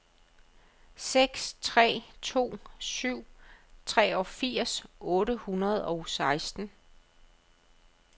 seks tre to syv treogfirs otte hundrede og seksten